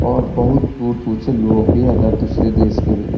और बहुत दूर - दूर से लोग भी अदर दूसरे देश के भी --